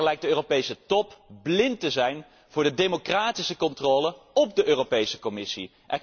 Telkens weer lijkt de Europese Top blind te zijn voor democratische controle op de Europese Commissie.